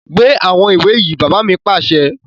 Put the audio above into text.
Gbé àwọn ìwé yìí! Bàbá mi pàṣẹ